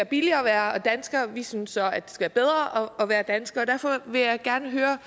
billigere at være dansker vi synes så at det skal være bedre at være dansker derfor vil jeg gerne høre